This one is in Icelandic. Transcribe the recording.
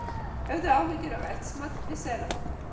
Höfðu áhyggjur af eldsmat við Seðlabankann